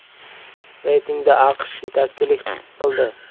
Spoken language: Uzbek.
Reytingda AQSh yetakchilik qildi.